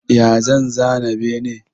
Ya zan zana bene?